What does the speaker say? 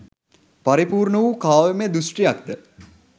පරිපූර්ණ වූ කාව්‍යම දෘෂ්ටියක් ද